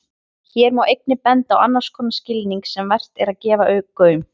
Hér má einnig benda á annars konar skilning sem vert er að gefa gaum.